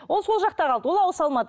ол сол жақта қалды ол ауыса алмады